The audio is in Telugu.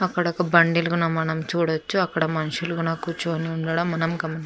అక్కడ ఒక బండిల్ కూడా మనం చూడచ్చు అక్కడ మనుషులు కూర్చుని ఉండడం మనం గమ --